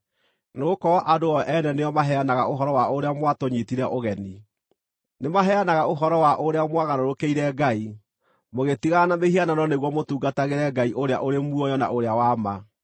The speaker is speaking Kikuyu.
nĩgũkorwo andũ o ene nĩo maheanaga ũhoro wa ũrĩa mwatũnyiitire ũgeni. Nĩmaheanaga ũhoro wa ũrĩa mwagarũrũkĩire Ngai, mũgĩtigana na mĩhianano nĩguo mũtungatagĩre Ngai ũrĩa ũrĩ muoyo na ũrĩa wa ma,